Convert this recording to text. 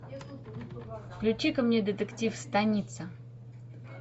включи ка мне детектив станица